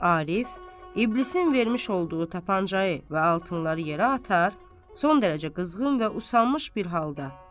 Arif, İblisin vermiş olduğu tapancayı və altınları yerə atar, son dərəcə qızğın və usanmış bir halda.